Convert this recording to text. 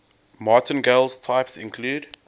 martingale types include